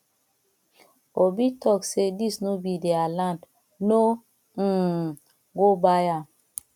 obi talk say dis no be their land no um go buy am